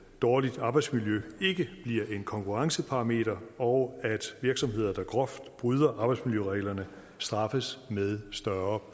dårligt arbejdsmiljø ikke bliver en konkurrenceparameter og at virksomheder der groft bryder arbejdsmiljøreglerne straffes med større